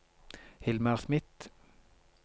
Hilmar Smith